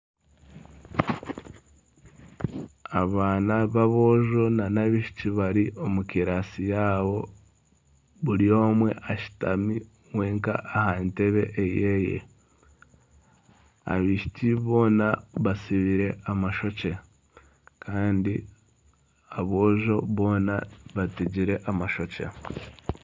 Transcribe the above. Abaana b'aboojo nana abaishiki bari omu kibiina kyabo bari omwe ashutami wenka aha ntebe eye, abaishiki boona batsibire amashokye kandi aboojo boona bategire amashokye